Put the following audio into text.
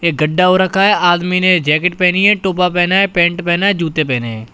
एक गड्ढ़ा हो रखा है। आदमी ने जैकेट पहनी है टोपा पहना है पैंट पहना है जूते पहने हैं।